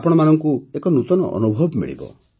ଆପଣମାନଙ୍କୁ ଏକ ନୂତନ ଅନୁଭବ ମିଳିବ